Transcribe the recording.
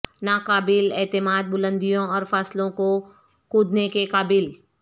ناقابل اعتماد بلندیوں اور فاصلوں کو کودنے کے قابل